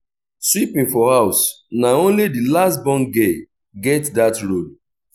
sweeping for house na only di last born girl get dat role